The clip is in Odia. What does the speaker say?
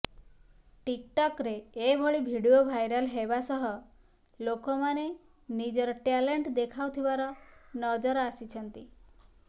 ଟିକ୍ଟକ୍ ରେ ଏଭଳି ଭିଡିଓ ଭାଇରାଲ ହେବା ସହ ଲୋକମାନେ ନିଜର ଟ୍ୟାଲେଣ୍ଟ ଦେଖାଉଥିବାର ନଜର ଆସିଛନ୍ତି